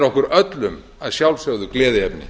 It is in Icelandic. okkur öllum að sjálfsögðu gleðiefni